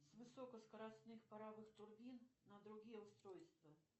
с высокоскоростных паровых турбин на другие устройства